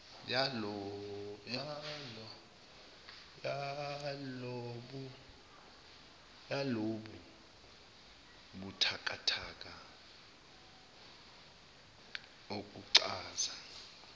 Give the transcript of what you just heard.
yalobu buthakathaka okuchaza